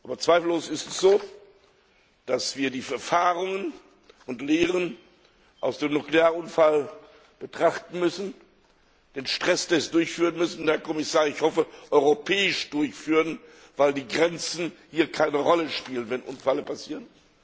Doch zweifellos ist es so, dass wir die Erfahrungen und Lehren aus dem Nuklearunfall betrachten und den Stresstest durchführen müssen, Herr Kommissar, und ich hoffe, europäisch durchführen, weil die Grenzen keine Rolle spielen, wenn Unfälle passieren.